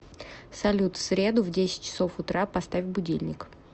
салют в среду в десять часов утра поставь будильник